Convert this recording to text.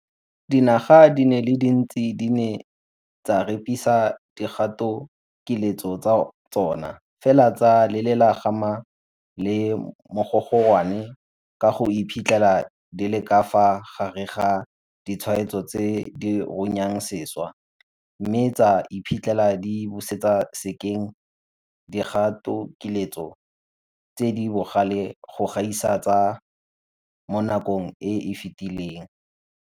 Dinaga di le dintsi di ne tsa repisa dikgatokiletso tsa tsona, fela tsa lelela kgama le mogogorwane ka go iphitlhela di le ka fa gare ga ditshwaetso tse di runyang sešwa, mme tsa iphitlhela di busetsa sekeng dikgatokiletso tse di bogale go gaisa tsa mo nakong e e fetileng.